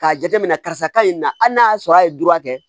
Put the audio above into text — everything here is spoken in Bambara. K'a jate minɛ karisa ka ɲi na hali n'a y'a sɔrɔ a ye dura kɛ